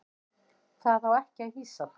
Það á ekki að hýsa þá.